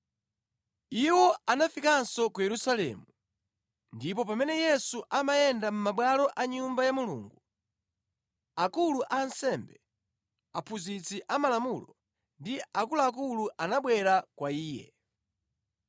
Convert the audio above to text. Iwo anafikanso ku Yerusalemu, ndipo pamene Yesu amayenda mʼmabwalo a Nyumba ya Mulungu, akulu a ansembe, aphunzitsi amalamulo ndi akuluakulu anabwera kwa Iye.